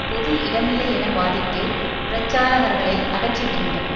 பொது இடமில்லை என வாதிட்டு பிரச்சாரகர்களை அகற்றிவிடுகின்றன